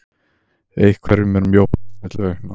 Einhverjum er mjótt á milli augna